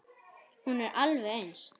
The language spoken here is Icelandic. Hún er alveg eins.